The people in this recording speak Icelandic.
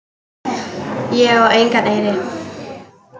Ég á engan eyri.